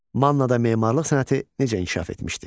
Mannada memarlıq sənəti necə inkişaf etmişdi?